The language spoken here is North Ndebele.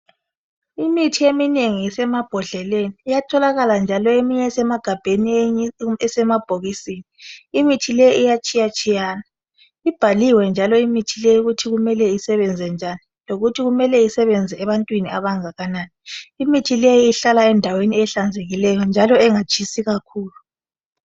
Imithi eminengi isemabhodleleni iyatholakala njalo eminye esemagabheni, eminye isemabhokisini. Imithi leyo iyatshiyatshiyana. Ibhaliwe njalo ukuthi imelele isebenza njani lokuthi imele isebenza ebantwini abangakanani. Imithi leyi ihlala endaweni ehlanzekileyo njalo engatshisiyo kakhulu.